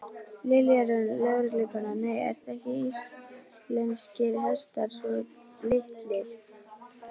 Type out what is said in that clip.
Lilja Rún, lögreglukona: Nei, eru ekki íslenskir hestar svo litlir?